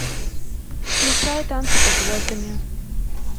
включай танцы под звездами